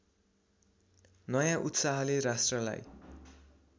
नयाँ उत्साहले राष्ट्रलाई